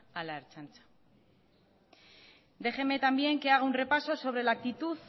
a la ertzaina déjeme también que haga un repaso sobre la actitud